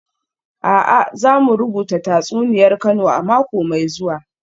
A'a, za mu rubuta tatsuniyar Kano a mako mai zuwa